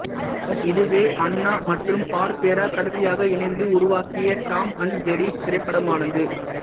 இதுவே ஹன்னா மற்றும் பார்பெரா கடைசியாக இணைந்து உருவாக்கிய டாம் அண்ட் ஜெர்ரி திரைப்படமானது